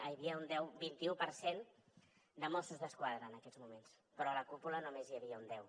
ai hi havia un vint i u per cent de mossos d’esquadra en aquests moments però a la cúpula només n’hi havia un deu